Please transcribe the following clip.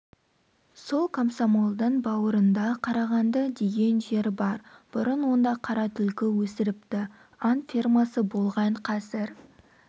сол комсомолдың бауырында қарағанды деген жер бар бұрын онда қара түлкі өсіріпті аң фермасы болған қазір